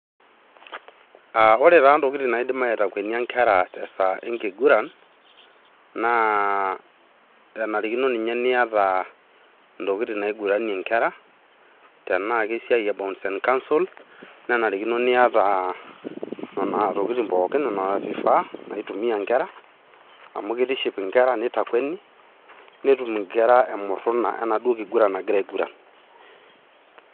Aah ore taa ntokitin naidik aitakwenia nkera te saa ekiguran naa enarikino ninye niata ntokitin naiguranie nkera, tenaa kesia e bounce and castel .nenarikino niata neno tokitin pooki nena vifaa naitumia nkera. Amu kitiship nkera neitakweni, netum nkera emuruna enaduo kiguran naagira aiguran.